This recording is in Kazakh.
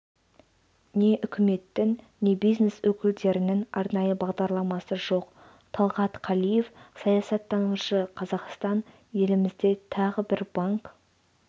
не үкіметтің не бизнес өкілдерінің арнайы бағдарламасы жоқ талғат қалиев саясаттанушы қазақстан елімізде тағы бір банк